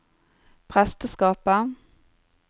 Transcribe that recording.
presteskapet